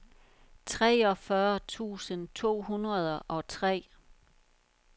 treogfyrre tusind to hundrede og tre